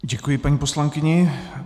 Děkuji paní poslankyni.